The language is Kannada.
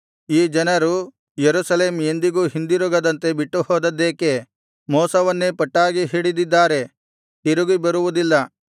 ಈ ಜನರು ಯೆರೂಸಲೇಮ್ ಎಂದಿಗೂ ಹಿಂದಿರುಗದಂತೆ ಬಿಟ್ಟುಹೋದದ್ದೇಕೆ ಮೋಸವನ್ನೇ ಪಟ್ಟಾಗಿ ಹಿಡಿದಿದ್ದಾರೆ ತಿರುಗಿ ಬರುವುದಿಲ್ಲ